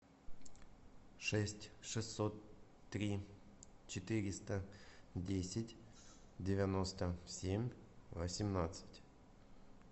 шесть шестьсот три четыреста десять девяносто семь восемнадцать